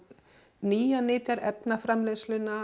nýjar nytjar